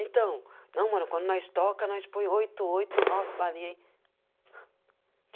Então, não, mano, quando nós toca, nós põe oito, oito, nove balinha aí.